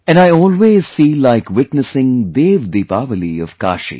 And I always feel like witnessing 'DevDeepawali' of Kashi